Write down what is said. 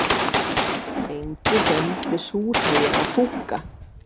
Enginn nefndi súrhey eða fúkka.